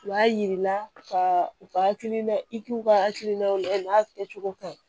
U b'a yiri la ka u ka hakilina i k'u ka hakilinaw lajɛ u n'a kɛcogo ka ɲi